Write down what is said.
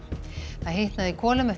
það hitnaði í kolum eftir